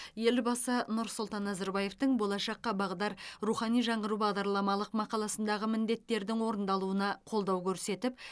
елбасы нұрсұлтан назарбаевтың болашаққа бағдар рухани жаңғыру бағдарламалық мақаласындағы міндеттердің орындалуына қолдау көрсетіп